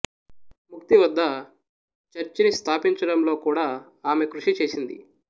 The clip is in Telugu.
ముక్తి వద్ద చర్చిని స్థాపించడంలో కూడా ఆమె కృషి చేసింది